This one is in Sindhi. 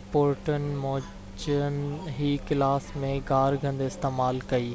رپورٽن موجن هي ڪلاس ۾ گار گند استعمال ڪئي